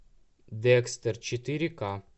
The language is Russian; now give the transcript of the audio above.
декстер четыре ка